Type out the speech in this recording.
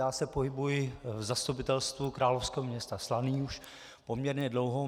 Já se pohybuji v Zastupitelstvu královského města Slaný už poměrně dlouho.